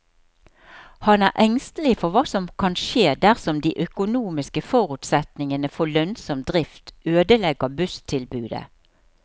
Han er engstelig for hva som kan skje dersom de økonomiske forutsetningene for lønnsom drift ødelegger busstilbudet.